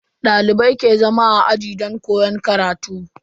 Dalibai ke zama a aji don koyon karatu.